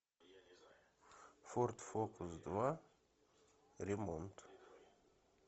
форд фокус два ремонт